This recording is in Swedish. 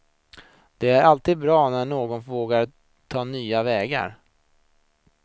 Och det är alltid bra när någon vågar ta nya vägar.